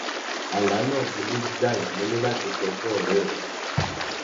àlá náà burú jáì mo ní láti sọ fún ọré mi